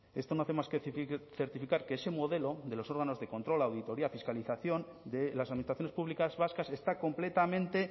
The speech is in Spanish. esto no hace más que certificar que ese modelo de los órganos de control auditorías fiscalización de las administraciones públicas vascas está completamente